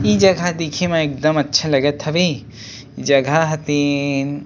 इ जगह देखे म एकदम अच्छा लगत हवे जगह ह तेन--